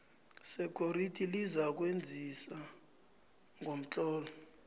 security lizakwazisa ngomtlolo